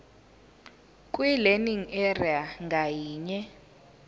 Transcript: kwilearning area ngayinye